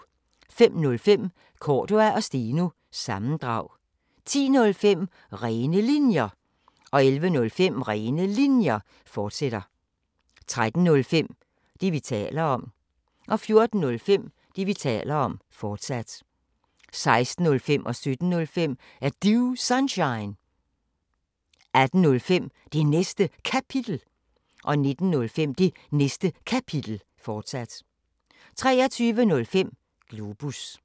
05:05: Cordua & Steno – sammendrag 10:05: Rene Linjer 11:05: Rene Linjer, fortsat 13:05: Det, vi taler om 14:05: Det, vi taler om, fortsat 16:05: Er Du Sunshine? 17:05: Er Du Sunshine? 18:05: Det Næste Kapitel 19:05: Det Næste Kapitel, fortsat 23:05: Globus